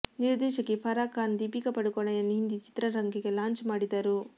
ನಿರ್ದೇಶಕಿ ಫರಾ ಖಾನ್ ದೀಪಿಕಾ ಪಡುಕೋಣೆಯನ್ನು ಹಿಂದಿ ಚಿತ್ರರಂಗಕ್ಕೆ ಲಾಂಚ್ ಮಾಡಿದರು